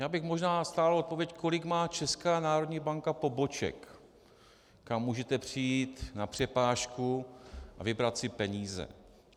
Já bych možná stál o odpověď, kolik má Česká národní banka poboček, kam můžete přijít na přepážku a vybrat si peníze.